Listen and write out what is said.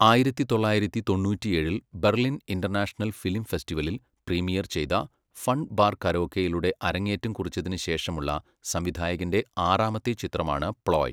ആയിരത്തി തൊള്ളായിരത്തി തൊണ്ണൂറ്റിയേഴിൽ ബെർലിൻ ഇന്റർനാഷണൽ ഫിലിം ഫെസ്റ്റിവലിൽ, പ്രീമിയർ ചെയ്ത 'ഫൺ ബാർ കരോക്കെ'യിലൂടെ അരങ്ങേറ്റം കുറിച്ചതിനു ശേഷമുള്ള സംവിധായകൻ്റെ ആറാമത്തെ ചിത്രമാണ് 'പ്ലോയ്'.